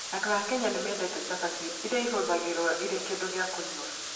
Andũ a Kenya nĩ mendete chapati, ĩrĩa ĩhũthagĩrũo ĩrĩ kĩndũ gĩa kũnyua.